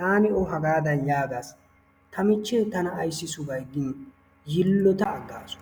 taani O haggaadan yaagaas, ta michchee tana ayssi sugay gini yiloota agaasu.